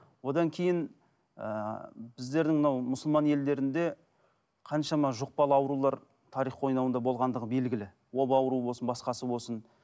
одан кейін ыыы біздердің мынау мұсылман елдерінде қаншама жұқпалы аурулар тарих қойнауында болғандығы белгілі оба ауруы болсын басқасы болсын